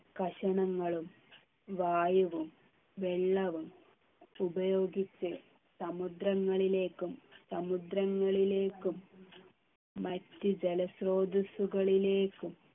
കഷണങ്ങളും വായുവും വെള്ളവും ഉപയോഗിച്ച് സമുദ്രങ്ങളിലേക്കും സമുദ്രങ്ങളിലേക്കും മറ്റ് ജലസ്രോതസ്സുകളിലേക്കും